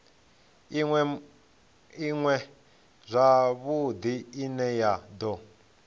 iṅwe zwavhudi ine ya do